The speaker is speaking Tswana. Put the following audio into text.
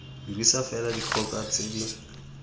dirisa fela dikgoka tse di